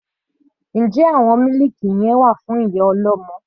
Njẹ́ àwọn mílìkì wà fún ìyá ọlọ́mọ?